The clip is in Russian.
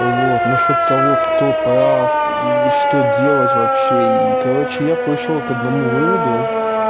вот насчёт того кто прав и что делать вообще и короче я пришёл к одному выводу